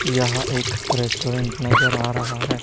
यह एक रेस्टोरेंट नजर आ रहा है।